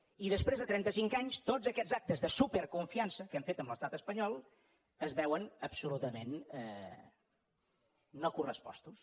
i després de trenta cinc anys tots aquests actes de super confiança que hem fet amb l’estat espanyol es veuen absolutament no correspostos